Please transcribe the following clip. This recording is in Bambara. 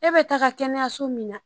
E bɛ taga kɛnɛyaso min na